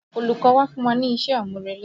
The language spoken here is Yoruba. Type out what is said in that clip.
Olùkọ́ wa fún wa ní iṣẹ́-àmúrelé